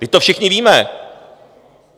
Vždyť to všichni víme.